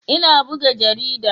Ina buga jarida.